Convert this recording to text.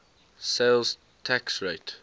sales tax rate